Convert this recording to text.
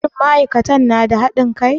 Shin ma'aikatan na da haɗin kai?